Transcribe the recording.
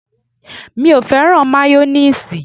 Mi ò fẹ́ràn máyónéèsì